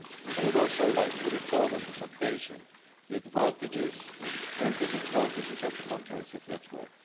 I would also like to recall on this occasion the advantages and disadvantages of the comprehensive network.